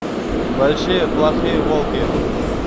большие плохие волки